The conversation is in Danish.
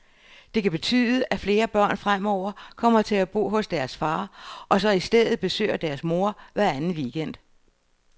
Det kan betyde, at flere børn fremover kommer til at bo hos deres far, og så i stedet besøger deres mor hver anden weekend.